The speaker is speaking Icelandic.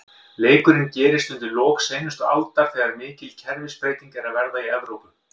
Leikurinn gerist undir lok seinustu aldar, þegar mikil kerfisbreyting er að verða í Evrópu.